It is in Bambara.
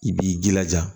I b'i jilaja